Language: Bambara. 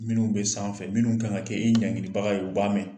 Minnu be sanfɛ, minnu kan ka kɛ i ɲangilibaga ye u b'a mɛn.